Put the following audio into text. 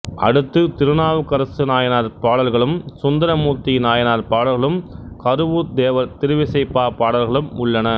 அடுத்து திருநாவுக்கரசு நாயனார் பாடல்களும் சுந்தரமூர்த்தி நாயனார் பாடல்களும் கருவூர்த் தேவர் திருவிசைப்பா பாடல்களும் உள்ளன